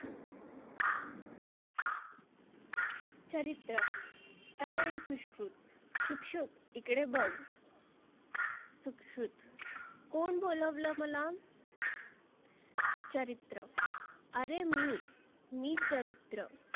चरीत्र ऐ सुश्रुत शुक शुक इकडे बघ. सुक्षुत कोण बोलावल मला? चरीत्र आरे मी, मी चरीत्र